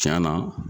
Tiɲɛ na